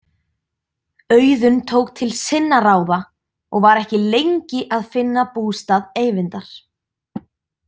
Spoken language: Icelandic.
Auðunn tók til sinna ráða og var ekki lengi að finna bústað Eyvindar.